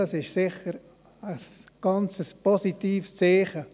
Das ist sicher ein ganz positives Zeichen.